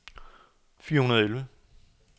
fire hundrede og elleve